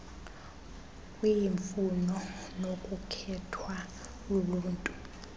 kwiimfuno nokukhethwa luluntu